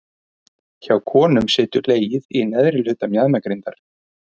Hjá konum situr legið í neðri hluta mjaðmagrindar.